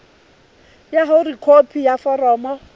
ba hore khopi ya foromo